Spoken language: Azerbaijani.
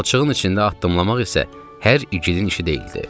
Palçığın içində addımlamaq isə hər igidin işi deyildi.